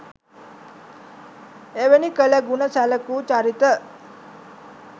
එවැනි කළ ගුණ සැලකූ චරිත